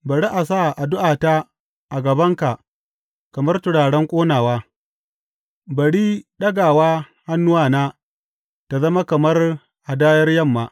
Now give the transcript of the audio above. Bari a sa addu’ata a gabanka kamar turaren ƙonawa; bari ɗagawa hannuwana ta zama kamar hadayar yamma.